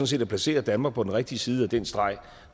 set at placere danmark på den rigtige side af den streg